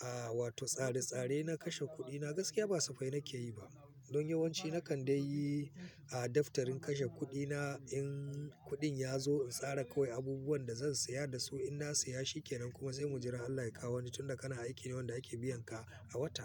a wato tsare-tsare na kashe kuɗina, gaskiya ba safai nake yi ba. Don yawanci na kan dai yi a daftarin kashe kuɗi na in kuɗin ya zo, in tsara kawai abubuwan da zan saya da su in na saya. Shi kenan kuma zai muji rarra Allah ya kawo wani tun da kana aiki ne wanda yake biyan ka a wata.